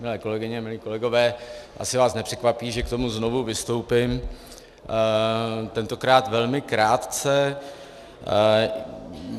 Milé kolegyně, milí kolegové, asi vás nepřekvapí, že k tomu znovu vystoupím, tentokrát velmi krátce.